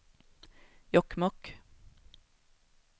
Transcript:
Jokkmokk